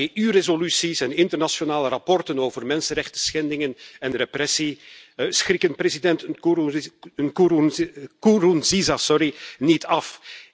EU resoluties en internationale rapporten over mensenrechtenschendingen en repressie schrikken president Nkurunziza niet af.